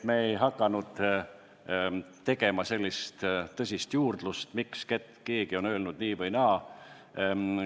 Me ei hakanud tegema sellist tõsist juurdlust, miks keegi on öelnud nii või naa.